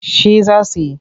Shi za su yi.